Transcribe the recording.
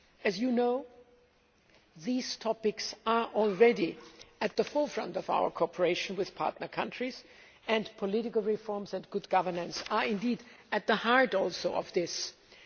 As you know, these topics are already at the forefront of our cooperation with partner countries, and political reforms and good governance are at the very heart of the ENP.